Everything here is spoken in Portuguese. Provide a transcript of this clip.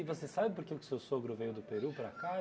você sabe por que que o seu sogro veio do Peru para cá?